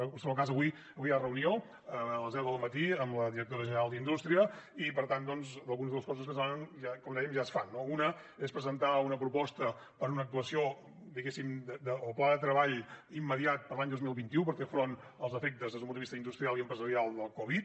en qualsevol cas avui hi ha reunió a les deu del matí amb la directora general d’indústria i per tant doncs algunes de les coses que es demanen com dèiem ja es fan no una és presentar una proposta per una actuació diguéssim el pla de treball immediat per a l’any dos mil vint u per fer front als efectes des d’un punt de vista industrial i empresarial de la covid